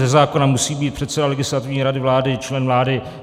Ze zákona musí být předseda Legislativní rady vlády člen vlády.